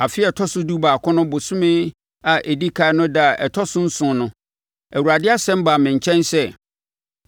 Afe a ɛtɔ so dubaako no bosome a ɛdi ɛkan no ɛda a ɛtɔ so nson no, Awurade asɛm baa me nkyɛn sɛ: